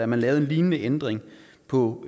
man lavede en lignende ændring på